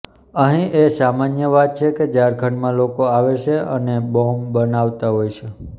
અહીં એ સામાન્ય વાત છે કે ઝારખંડમાં લોકો આવે છે અને બોમ્બ બનાવતા હોય છે